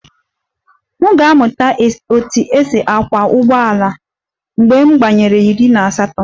M ga-amụta otú e si akwọ ụgbọala mgbe m gbanwere iri na asatọ